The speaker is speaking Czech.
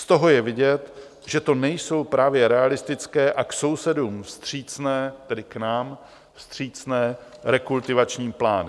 Z toho je vidět, že to nejsou právě realistické a k sousedům vstřícné, tedy k nám vstřícné, rekultivační plány.